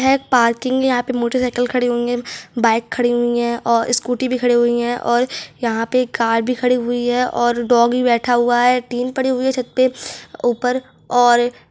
यहाँ एक पार्किंग है यहाँ पे मोटर साइकिल खड़े होंगे बाइक खड़ी हुई है और स्कूटी भी खड़ी हुई है और यहाँ पे कार भी खड़ी हुई है और डोगी बैठा हुआ है टीन पड़ी हुई है छत पे ऊपर और --